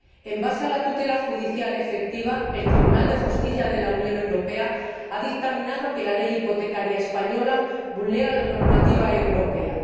Sobre la base del principio de la tutela judicial efectiva, el Tribunal de Justicia de la Unión Europea ha dictaminado que la ley hipotecaria española vulnera la normativa europea.